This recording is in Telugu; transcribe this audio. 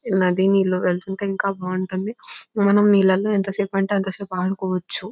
నది నీళ్లు వెళ్తుంటే ఇంకా బాగుంటుంది మనము నీళ్లలో ఎంతసేపు అంటే ఎంతసేపు ఆడుకోవచ్చు.